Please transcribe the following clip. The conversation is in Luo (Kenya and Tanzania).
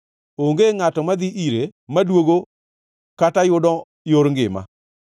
Onge ngʼato madhi ire maduogo kata yudo yor ngima.